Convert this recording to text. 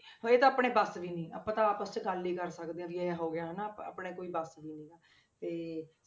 ਹੁਣ ਇਹ ਤਾਂ ਆਪਣੇ ਬਸ ਦੀ ਨੀ ਆਪਾਂ ਤਾਂ ਆਪਸ 'ਚ ਗੱਲ ਹੀ ਕਰ ਸਕਦੇ ਹਾਂ ਵੀ ਇਹ ਹੋ ਗਿਆ ਹਨਾ ਆਪਾਂ ਆਪਣੇ ਕੋਈ ਬਸ ਵੀ ਨੀ ਹੈਗਾ ਤੇ,